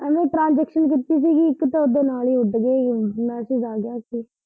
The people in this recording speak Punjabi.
ਐਂਵੇ ਟਰਾਂਜਿਕਸ਼ਨ ਕੀਤੀ ਸੀਗੀ ਇੱਕ ਤੇ ਓਦੇ ਨਾਲ ਹੀ ਉੱਡ ਗਈ ਹੀ, ਮੈਸਿਜ ਆ ਗਿਆ ਸੀ।